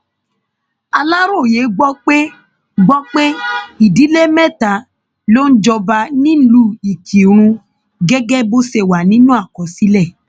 aláròye gbọ pé gbọ pé ìdílé mẹta ló ń jọba nílùú ìkírùn gẹgẹ bó ṣe wà nínú àkọsílẹ